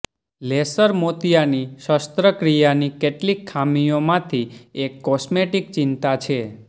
laser મોતિયાની શસ્ત્રક્રિયાની કેટલીક ખામીઓમાંથી એક કોસ્મેટિક ચિંતા છે